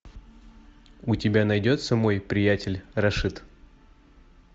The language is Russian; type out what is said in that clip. у тебя найдется мой приятель рашид